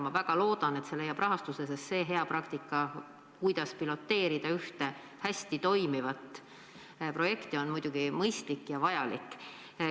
Ma väga loodan, et see leiab rahastuse, sest see hea praktika, kuidas piloteerida ühte hästi toimivat projekti, on muidugi mõistlik ja vajalik.